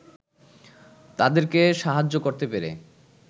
তাদেরকে সাহায্য করতে পেরে